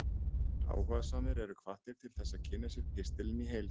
áhugasamir eru hvattir til þess að kynna sér pistilinn í heild